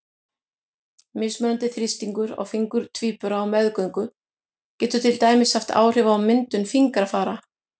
Mismunandi þrýstingur á fingur tvíbura á meðgöngu getur til dæmis haft áhrif á myndun fingrafara.